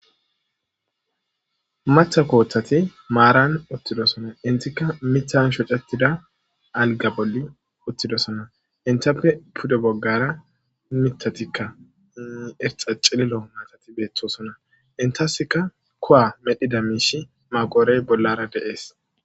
Matha kooththati maaran uttidosona intikka mithan shocettida alga bolli uttidosona intappe pude boggara mitatikka erxa cililo maatati beettosona intasika kowa medhida miishi maqoorey bollara deees.